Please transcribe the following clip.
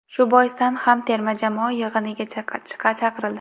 Shu boisdan ham terma jamoa yig‘iniga chaqirildi.